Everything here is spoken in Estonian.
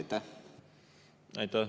Aitäh!